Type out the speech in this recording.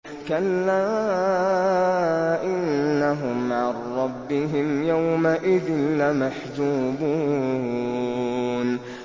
كَلَّا إِنَّهُمْ عَن رَّبِّهِمْ يَوْمَئِذٍ لَّمَحْجُوبُونَ